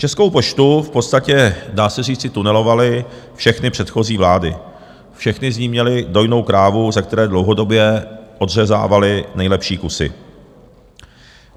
Českou poštu v podstatě, dá se říci, tunelovaly všechny předchozí vlády, všechny z ní měly dojnou krávu, ze které dlouhodobě odřezávaly nejlepší kusy.